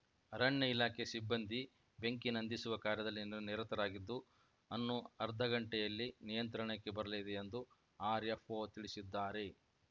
ಅರಣ್ಯ ಇಲಾಖೆ ಸಿಬ್ಬಂದಿ ಬೆಂಕಿ ನಂದಿಸುವ ಕಾರ್ಯದಲ್ಲಿ ನಿರತರಾಗಿದ್ದು ಅನ್ನು ಅರ್ಧ ಗಂಟೆಯಲ್ಲಿ ನಿಯಂತ್ರಣಕ್ಕೆ ಬರಲಿದೆ ಎಂದು ಆರ್‌ಎಫ್‌ಒ ತಿಳಿಸಿದ್ದಾರೆ